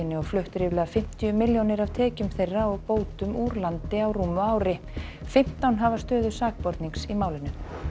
og flutt ríflega fimmtíu milljónir af tekjum þeirra og bótum úr landi á rúmu ári fimmtán hafa stöðu sakbornings í málinu